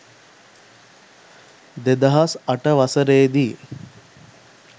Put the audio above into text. දෙදහස් අට වසරේ දී